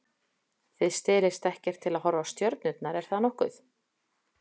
Þið stelist ekkert til að horfa á stjörnurnar, er það nokkuð?